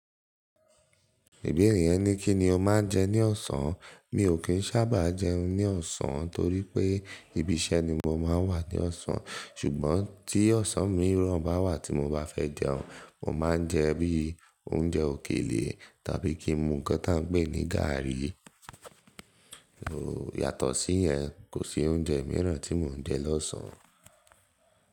Ibeere yẹn ní kí ni o máa ń jẹ ní ọ̀sán. Mi ò kí ń sábà jẹun ní ọ̀sán torí pé ibi iṣẹ́ ni mo máa ń wà ní ọ̀sán. Ṣùgbọ́n tí ọ̀sán mìíràn bá wà tí mo bá fẹ́ jẹun, mo máa ń jẹ bíi oúnjẹ òkèlè tàbí kí n mu kan tí a ń pè ní gári. Yàtọ̀ sí yẹn, kò sí oúnjẹ mìíràn tí mò ń jẹ lọ́sàn-án.